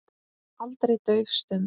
Aldrei dauf stund.